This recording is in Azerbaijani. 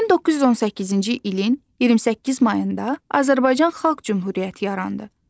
1918-ci ilin 28 mayında Azərbaycan Xalq Cümhuriyyəti yarandı.